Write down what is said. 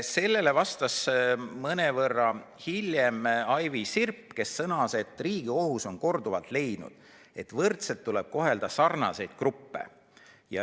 Sellele vastas mõnevõrra hiljem Aivi Sirp, kes sõnas, et Riigikohus on korduvalt leidnud, et võrdselt tuleb kohelda sarnaseid gruppe.